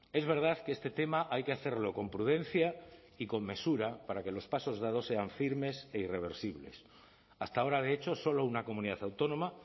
es verdad que este tema hay que hacerlo con prudencia y con mesura para que los pasos dados sean firmes e irreversibles hasta ahora de hecho solo una comunidad autónoma